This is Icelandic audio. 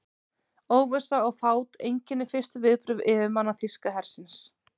Óvissa og fát einkenndi fyrstu viðbrögð yfirmanna þýska hersins.